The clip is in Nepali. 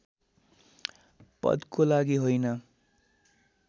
पदको लागि होइन